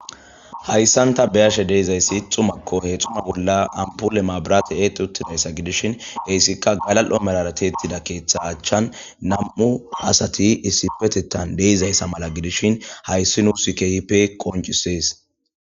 Haysan ta be'ashe dizays xumako . he xuma bolla ampole mabiratey eexi utidaysa gidishn hesika galal'o malara tiyet utida ketha achan 2 asat issipetetan dizaysa mala gidishn, hays nus qoncises.